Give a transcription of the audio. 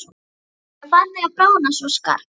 Jöklarnir eru farnir að bráðna svo skarpt.